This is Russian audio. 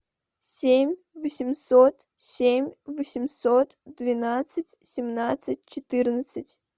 семь восемьсот семь восемьсот двенадцать семнадцать четырнадцать